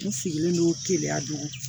N sigilen do teliya don